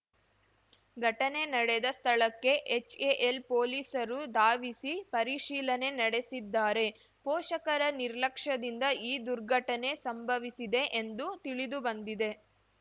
ಘಟನೆ ನಡೆದ ಸ್ಥಳಕ್ಕೆ ಹೆಚ್‌ಎ‌ಎಲ್ ಪೊಲೀಸರು ಧಾವಿಸಿ ಪರಿಶೀಲನೆ ನಡೆಸಿದ್ದಾರೆ ಪೋಷಕರ ನಿರ್ಲಕ್ಷ್ಯದಿಂದ ಈ ದುರ್ಘಟನೆ ಸಂಭವಿಸಿದೆ ಎಂದು ತಿಳಿದುಬಂದಿದೆ